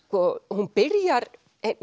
hún byrjar